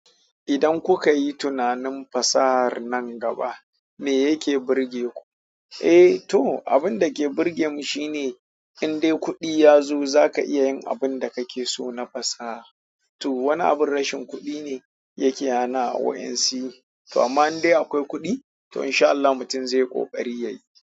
Idan kuka yi tunanin fasahar nan gaba, me yake burge ku? Eh to, abinda ke burgeni shine indai kuɗi yazo zaka iya yin abinda kakeso na fasaha to, wani abin rashin kuɗi ne yake hana waɗansu yi. To amma in dai akwai kuɗi, to insha Allah mutum zai ƙoƙari yayi.